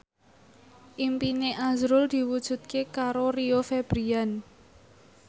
impine azrul diwujudke karo Rio Febrian